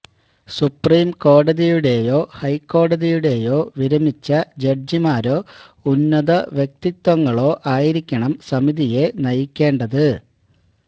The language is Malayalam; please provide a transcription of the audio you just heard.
സുപ്രീം കോടതിയുടെയോ ഹൈക്കോടതിയുടെയോ വിരമിച്ച ജഡ്ജിമാരോ ഉന്നത വ്യക്തിത്വങ്ങളോ ആയിരിക്കണം സമിതിയെ നയിക്കേണ്ടത്